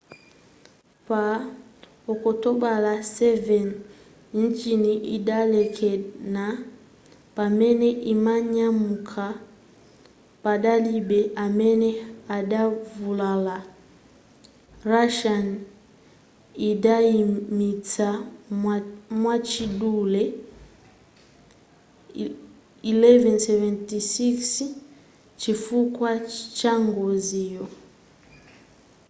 pa okutobala 7 injini idalekana pamene imanyamuka padalibe amene adavulala russia idayimitsa mwachidule il-76s chifukwa changoziyo